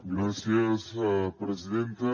gràcies presidenta